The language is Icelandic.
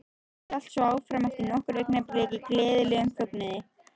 Og hélt svo áfram eftir nokkur augnablik í gleðilegum fögnuði